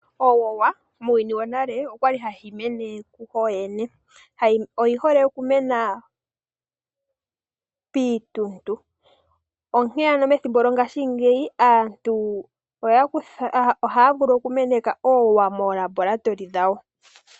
Owowa muuyuni wonale okwali hayi mene kuyo yene oyi hole okumena piintuntu onkee ano methimbo lyongashingeyi aantu ohaa vulu oku meneka oowowa moolabolatoli dhawo.